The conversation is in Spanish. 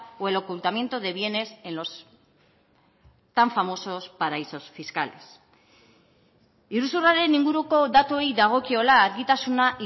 o el ocultamiento de bienes en los tan famosos paraísos fiscales iruzurraren inguruko datuei dagokiola argitasuna